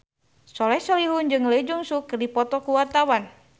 Soleh Solihun jeung Lee Jeong Suk keur dipoto ku wartawan